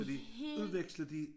Og de udvekslede de